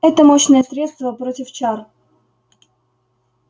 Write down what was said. это мощное средство против чар